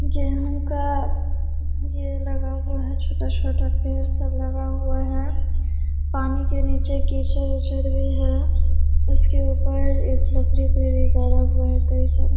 गेंहू का ये लगा हुआ है छोटा-छोटा पेड़ सब लगा हुआ है। पानी के नीचे कीचड़-उचर भी है उसके ऊपर एक लकड़ी-उकड़ी भी डाला हुआ है कई सारा --